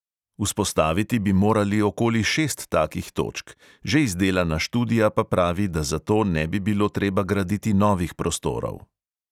Vzpostaviti bi morali okoli šest takih točk, že izdelana študija pa pravi, da za to ne bi bilo treba graditi novih prostorov.